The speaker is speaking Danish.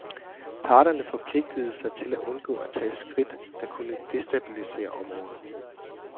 Parterne forpligtede sig til at undgå at tage skridt, der kunne destabilisere området.